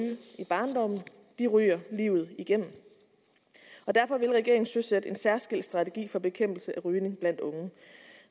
i barndommen ryger livet igennem derfor vil regeringen søsætte en særskilt strategi for bekæmpelse af rygning blandt unge